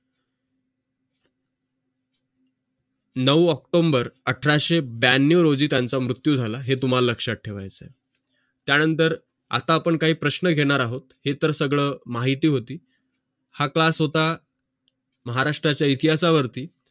नऊ आक्टोबर अठराशे ब्यांनाव रोजी त्यांचं मृत्यू झालं हे तुम्हाला लोकशात ठेवायचं आहे त्यानंतर आता आपण काही प्रश्न घेणार आहोत हे तर सगळं माहिती होती हा तास आता महाराष्ट्राचा इतिहासावरती